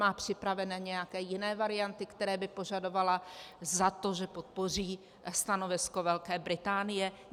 Má připravené nějaké jiné varianty, které by požadovala za to, že podpoří stanovisko Velké Británie?